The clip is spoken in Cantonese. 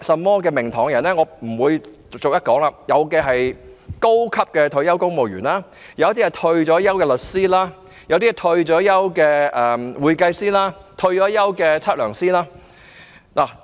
我不會在此逐一說出，但當中包括高級退休公務員、退休律師、退休會計師和退休測量師等。